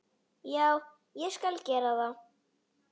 já, ég skal gera það.